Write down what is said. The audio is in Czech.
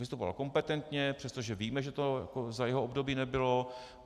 Vystupoval kompetentně, přestože víme, že to za jeho období nebylo.